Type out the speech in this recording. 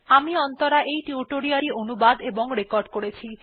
আমি অন্তরা এই টিউটোরিয়াল টি অনুবাদ এবং রেকর্ড করেছি